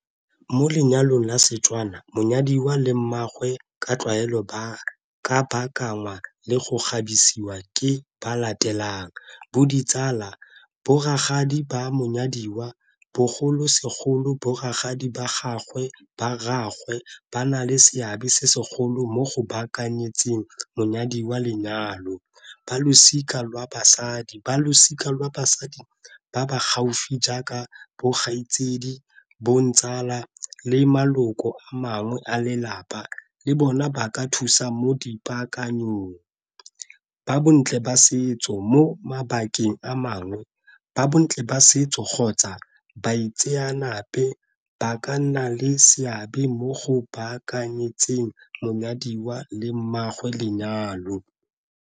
Mo lenyalong la Setswana monyadiwa le mmaagwe ka tlwaelo ba ka baakangwa le go kgabisiwa ke ba latelang bo ditsala, bo rakgadi ba monyadiwa bogolosegolo bo rakgadi ba gagwe ba rraagwe ba na le seabe se segolo mo go baakanyetseng monyadiwa lenyalo. Ba losika lwa basadi, ba losika lwa basadi ba ba gaufi jaaka bo kgaitsedi, bo ntsala le maloko a mangwe a lelapa le bona ba ka thusa mo dipaakanyo. Ba bontle ba setso, mo mabakeng a mangwe ba bontle ba setso kgotsa ba itseanape ba ka nna le seabe mo go baakanyetseng monyadiwa le mmaagwe lenyalo.